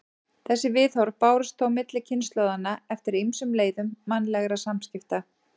Þessi viðhorf bárust þó milli kynslóðanna eftir ýmsum leiðum mannlegra samskipta.